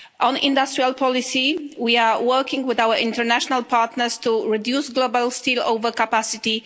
On industrial policy, we are working with our international partners to reduce global steel over capacity